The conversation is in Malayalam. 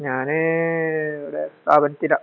ഞാന് ഇവിടെ .